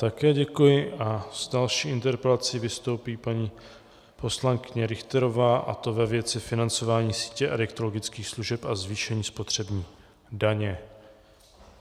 Také děkuji a s další interpelací vystoupí paní poslankyně Richterová, a to ve věci financování sítě adiktologických služeb a zvýšení spotřební daně.